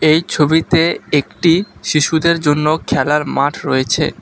এই ছবিতে একটি শিশুদের জন্য খেলার মাঠ রয়েছে।